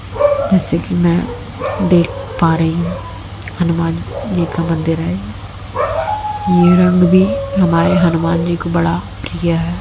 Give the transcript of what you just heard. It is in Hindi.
जैसे कि मैं देख पा रही हूं हनुमान जी का मंदिर है यह रंग भी हमारे हनुमान जी को बड़ा प्रिय है।